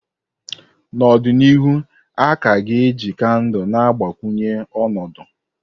N'ọdịnihu, a ka ga-eji kandụl na-agbakwunye ọnọdụ.